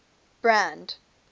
brand